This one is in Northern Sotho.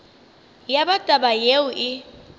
ya ba taba yeo e